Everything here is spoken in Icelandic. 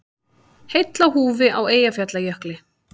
Heill á húfi á Eyjafjallajökli